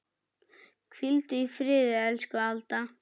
Hvíldu í friði, elsku Alda.